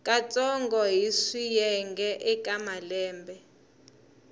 katsongo hi swiyenge eka malembe